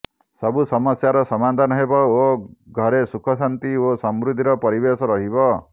ସବୁ ସମସ୍ୟାର ସମାଧାନ ହେବ ଓ ଘରେ ସୁଖ ଶାନ୍ତି ଓ ସମୃଦ୍ଧିର ପରିବେଶ ରହିବ